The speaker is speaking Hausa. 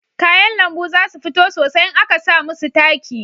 Kayan lambu za su fito sosai in a ka samu su taki